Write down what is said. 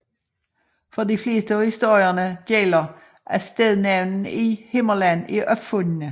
For de fleste af historierne gælder at stednavnene i Himmerland er opfundne